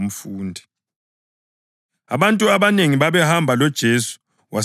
Abantu abanengi babehamba loJesu, wasephendukela kubo wathi: